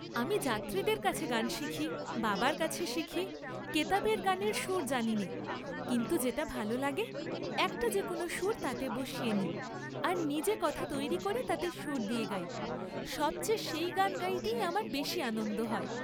আমি যাত্রীদের কাছে গান শিখি, বাবার কাছে শিখি , কেতাবের গানের সুর জানিনে, কিন্তু যেটা ভাল লাগে একটা যে কোন সুর তাতে বসিয়ে নিই, আর নিজে কথা তৈরি করে তাতে সুর দিয়ে গাই, সব চেয়ে সেই গান গাইতে আমার বেশী আনন্দ হয়।